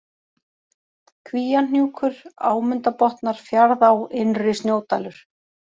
Kvíahnjúkur, Ámundabotnar, Fjaðrá, Innri-Snjódalur